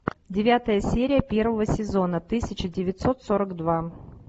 девятая серия первого сезона тысяча девятьсот сорок два